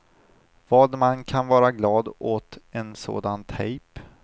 Vad man kan vara glad åt en sån tejp.